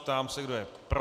Ptám se, kdo je pro.